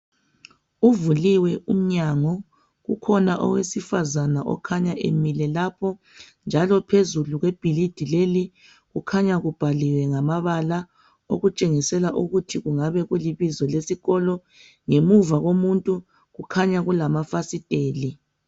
Kuvuliwe umnyango, ukhona owesifazana okhanya emile lapho. Njalo phezulu kwebhilidi lelo kukhanya kubhaliwe ngamabala okutshengisela ukuthi kungabe kulibizo lesikolo. Ngemuva komuntu kukhanya kulamafasiteli.